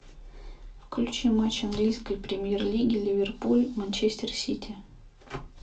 включи матч английской премьер лиги ливерпуль манчестер сити